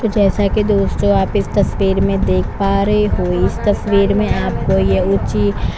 तो जैसा की दोस्तों आप इस तस्वीर में आप देख पा रहै हो इस तस्वीर में आपको ये ऊँची--